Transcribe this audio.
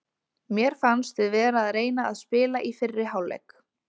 Mér fannst við vera að reyna að spila í fyrri hálfleik.